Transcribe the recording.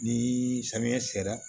Ni samiya sera